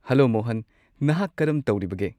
Hello Mohan, ꯅꯍꯥꯛ ꯀꯔꯝ ꯇꯧꯔꯤꯕꯒꯦ?